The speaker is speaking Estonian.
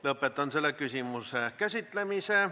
Lõpetan selle küsimuse käsitlemise.